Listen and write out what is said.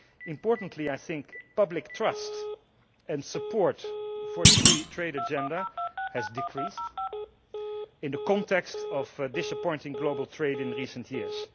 Importantly, I think, public trust and support for the free trade agenda has decreased in the context of disappointing global trade in recent years.